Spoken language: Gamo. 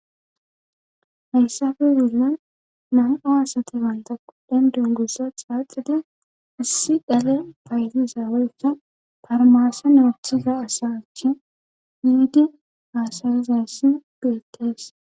hayssafe zilla na7a asate banta quddhen dungusa xaaxida issi dhale paytiza weyssa farmaasa naothiza asa achi hiidi haasawizassi beettees